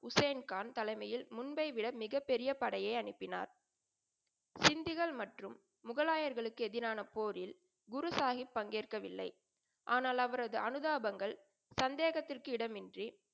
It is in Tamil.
ஹுசேன்கான் தலைமையில் முன்பை விட மிகப்பெரிய படையை அனுப்பினார். சிண்டுகள் மற்றும் முகலாயர்களுக்கு எதிரான போரில் குருசாஹிப் பங்கேற்கவில்லை. ஆனால் அவரது அனுதாபங்கள் சந்தேகத்திற்கு இடமின்றி,